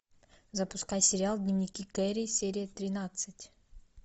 запускай сериал дневники кэрри серия тринадцать